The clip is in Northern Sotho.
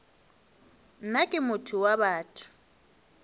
nna ke motho wa batho